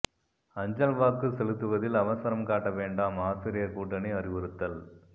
அஞ்சல் வாக்கு செலுத்துவதில் அவசரம் காட்ட வேண்டாம் ஆசிரியர் கூட்டணி அறிவுறுத்தல்